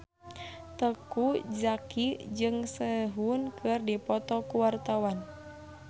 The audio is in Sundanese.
Teuku Zacky jeung Sehun keur dipoto ku wartawan